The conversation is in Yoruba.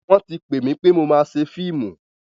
Wọ́n ti pè mi pé mo máa ṣe fíìmù.